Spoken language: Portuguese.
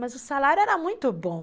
Mas o salário era muito bom.